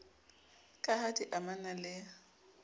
ka ha di amana le